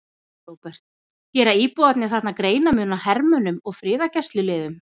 Róbert: Gera íbúarnir þarna greinarmun á hermönnum og friðargæsluliðum?